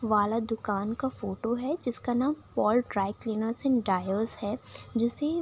वाला दुकान का फोटो है जिसका नाम Paul dry cleaners and dryers है। जिसे --